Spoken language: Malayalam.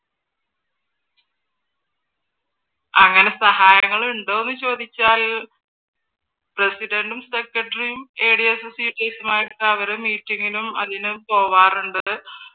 അങ്ങനെ സഹായങ്ങൾ ഉണ്ടോന്ന് ചോദിച്ചാൽ പ്രസിഡന്റും സെക്രട്ടറിയും ഏഡിസ് അവർ മീറ്റിംഗിനും അതിനും പോകാറുണ്ട്